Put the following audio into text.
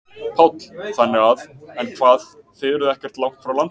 Páll: Þannig að, en hvað þið eruð ekkert langt frá landi?